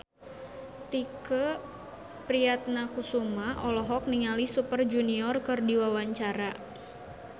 Tike Priatnakusuma olohok ningali Super Junior keur diwawancara